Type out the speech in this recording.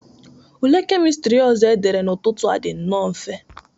Ule kemistri ọzọ dere n'ụtụtụ a dị nnọọ mfe.